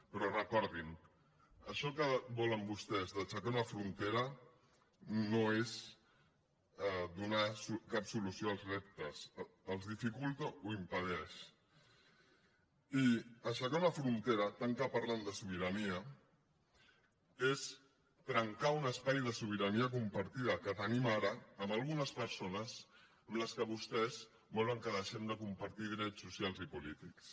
però recordin això que volen vostès d’aixecar una frontera no és donar cap solució als reptes els dificulta o impedeix i aixecar una frontera tant que parlen de sobirania és trencar un espai de sobirania compartida que tenim ara amb algunes persones amb què vostès volen que deixem de compartir drets socials i polítics